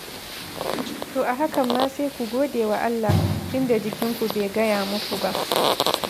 To a hakan ma sai ku godewa Allah, tun da jikinku bai gaya muku ba.